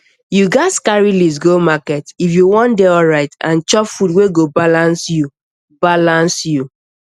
you gats carry list go market if you wan dey alright and chop food wey go balance you balance you